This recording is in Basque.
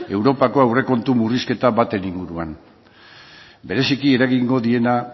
europako aurrekontu murrizketa baten inguruan bereziki eragingo diena